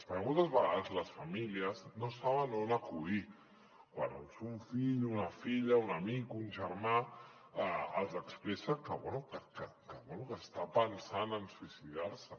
perquè moltes vegades les famílies no saben on acudir quan un fill una filla un amic un germà els expressa bé que està pensant en suïcidar se